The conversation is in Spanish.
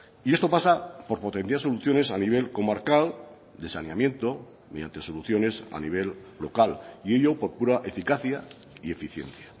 y esto pasa por potenciar soluciones a nivel comarcal de saneamiento mediante soluciones a nivel local y ello por pura eficacia y eficiencia